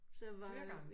Flere gange